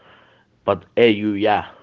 под э ю я